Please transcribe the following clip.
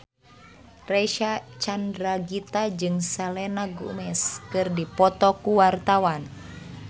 Reysa Chandragitta jeung Selena Gomez keur dipoto ku wartawan